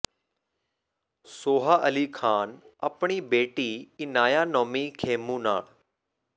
ਸੋਹਾ ਅਲੀ ਖ਼ਾਨ ਆਪਣੀ ਬੇਟੀ ਇਨਾਯਾ ਨੌਮੀ ਖੇਮੂ ਨਾਲ